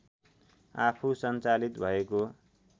आफू सञ्चालित भएको